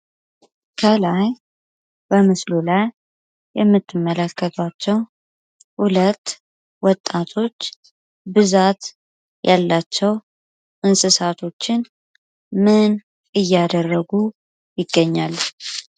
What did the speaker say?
ከላይ በምስሉ ላይ የምትመለከታቸው ሁለት ወጣቶች ብዛት ያላቸው እንስሳቶችን ምን እያደረጉ ይገኛል።